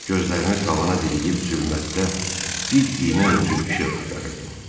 Gözlərimi tavana dirəyib zülmətdə bir iynə ucu işıq axtarırdım.